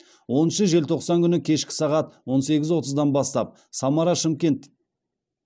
оныншы желтоқсан күні кешкі сағат он сегіз отыздан бастап самара шымкент